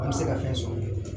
An bɛ se ka fɛn sɔrɔ